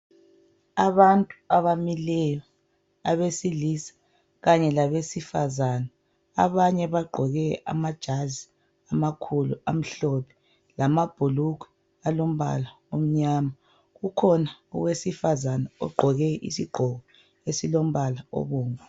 Abantu abamileyo. Abesilisa kanye labesifazana. Abanye bagqoke amajazi amakhulu amhlophe. Kanye lamabhulugwe alombala omnyama. Kukhona owesifazana ogqoke isigqoko esilombala obomvu.